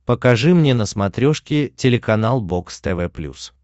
покажи мне на смотрешке телеканал бокс тв плюс